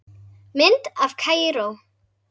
Mynd af Kaíró